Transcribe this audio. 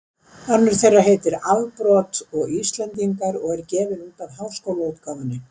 Önnur þeirra heitir Afbrot og Íslendingar og er gefin út af Háskólaútgáfunni.